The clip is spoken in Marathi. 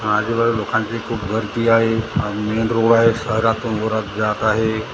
आजुबाजु लोकांची खूप गर्दी आहे अ मेन रोड आहे शहरातून वरात जात आहे.